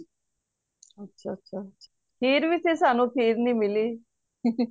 ਅੱਛਾ ਅੱਛਾ ਖੀਰ ਵੀ ਸੀ ਸਾਨੂ ਖੀਰ ਨਹੀਂ ਮਿਲੀ